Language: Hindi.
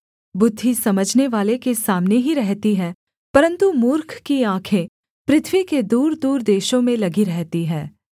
बुद्धि समझनेवाले के सामने ही रहती है परन्तु मूर्ख की आँखें पृथ्वी के दूरदूर देशों में लगी रहती हैं